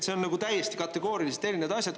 See on täiesti kategooriliselt erinevad asjad.